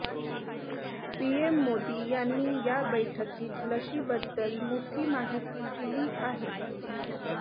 PM Modi यांनी या बैठकीत लशीबद्दल मोठी माहिती दिली आहे